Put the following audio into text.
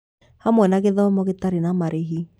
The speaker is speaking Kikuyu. Hamwe na gĩthomo gĩtarĩ na marĩhi